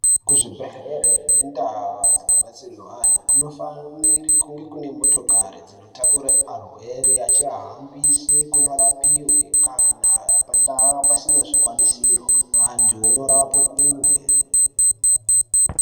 Kuzvibhedhlere nendau dzinobatsirwe anhu kunofanire kunge kune motokori dzinotakure arwere achiahambise kunorapiwe kana pandau pasina zvikwanisiro antu onorapwe kumwe.